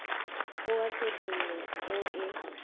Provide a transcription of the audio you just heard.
o a tshedimo o e